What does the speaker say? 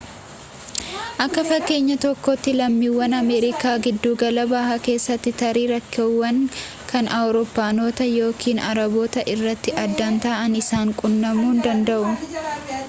akka fakkeenya tokkootti lammiiwwan ameerikaa giddugala bahaa keessaa tarii rakkoowwan kan awurooppaanotaa yookiin arabootaa irraa adda ta'an isaan quunnamuu danda'u